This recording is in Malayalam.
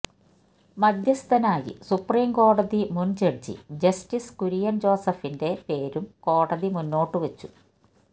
മധ്യസ്ഥനായി സുപ്രീം കോടതി മുന് ജഡ്ജി ജസ്റ്റിസ് കുര്യന് ജോസഫിന്റെ പേരും കോടതി മുന്നോട്ടുവച്ചു